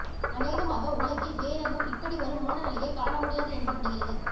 அனேகமாக உலகில் வேறெங்கும் இப்படி ஒரு மோனநிலையைக் காணமுடியாது என்று படுகிறது